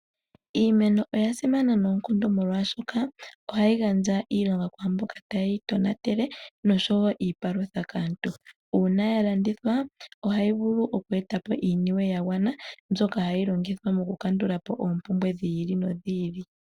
Iimeno oyasimana noonkondo molwashoka ohayi gandja iilonga kwaamboka taye yi tonatele nosho wo iipalutha kaantu, una yalandithwa ohayi vulu oku eta po iiyemo yagwana mbyoka hayi longithwa mo ku kandula po oompumbwe dhi ili nodhi ili.